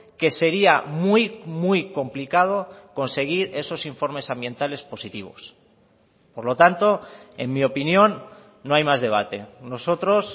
que sería muy muy complicado conseguir esos informes ambientales positivos por lo tanto en mi opinión no hay más debate nosotros